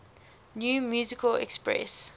new musical express